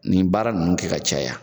Nin baara ninnu kɛ ka caya.